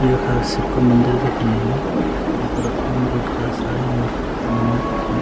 यखा शिव कु मंदिर दिखेण लग्युं तेफर ओम रुद्रै शाह नमः लिख्युं।